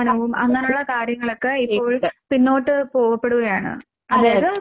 അതെയതെ.